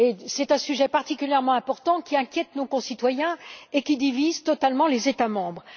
C'est un sujet particulièrement important qui inquiète nos concitoyens et divise totalement les États membres.